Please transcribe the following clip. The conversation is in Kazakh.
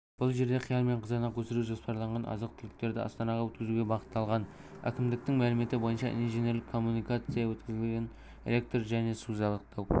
бұл жерде қияр мен қызанақ өсіру жоспарланған азық-түліктерді астанаға өткізуге бағытталған әкімдіктің мәліметі бойынша инженерлік коммуникация өткізілген электр және су жабдықтау